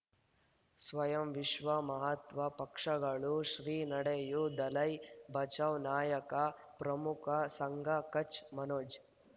ಸ್ವಯಂ ವಿಶ್ವ ಮಹಾತ್ವ ಪಕ್ಷಗಳು ಶ್ರೀ ನಡೆಯೂ ದಲೈ ಬಚೌ ನಾಯಕ ಪ್ರಮುಖ ಸಂಘ ಕಚ್ ಮನೋಜ್